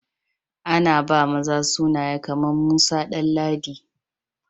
A na ba maza sunaye kaman Musa, Danladi